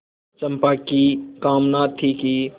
चंपा की कामना थी कि